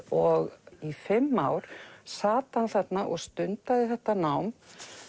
og í fimm ár sat hann þarna og stundaði þetta nám